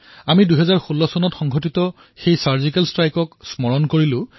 আমি ২০১৬ বৰ্ষত হোৱা ছাৰ্জিকেল ষ্ট্ৰাইকৰ কথা স্মৰণ কৰিলো